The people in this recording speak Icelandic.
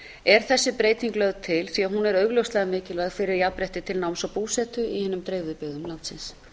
er þessi breyting lögð til því hún er augljóslega mikilvæg fyrir jafnrétti til náms og búsetu í hinum dreifðu byggðum landsins